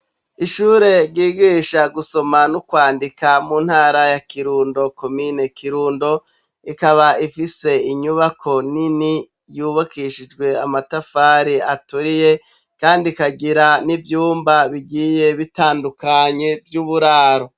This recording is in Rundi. Ishure ryigisha gusoma no kwandika mu ntara ya Kirundo, komine Kirundo, ikaba ifise inyubako nini yubakishijwe amatafari aturiye kandi ikagira n'ivyumba bitandukanye vy'uburaro.